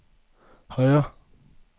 højre